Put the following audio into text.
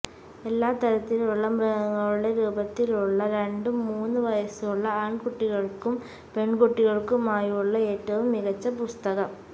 എല്ലാ തരത്തിലുള്ള മൃഗങ്ങളുടെ രൂപത്തിലുള്ള രണ്ടു മൂന്നു വയസ്സുള്ള ആൺകുട്ടികൾക്കും പെൺകുട്ടികൾക്കുമായുള്ള ഏറ്റവും മികച്ച പുസ്തകം